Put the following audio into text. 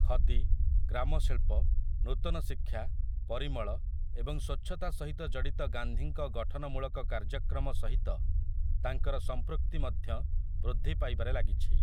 ଖଦି, ଗ୍ରାମ ଶିଳ୍ପ, ନୂତନ ଶିକ୍ଷା, ପରିମଳ ଏବଂ ସ୍ୱଚ୍ଛତା ସହିତ ଜଡିତ ଗାନ୍ଧୀଙ୍କ ଗଠନମୂଳକ କାର୍ଯ୍ୟକ୍ରମ ସହିତ ତାଙ୍କର ସମ୍ପୃକ୍ତି ମଧ୍ୟ ବୃଦ୍ଧି ପାଇବାରେ ଲାଗିଛି ।